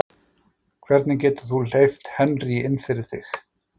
Hvernig getur þú hleypt Henry inn fyrir þig?